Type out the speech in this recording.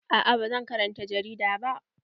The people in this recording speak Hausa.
Aa ba zan karanta jarida ba.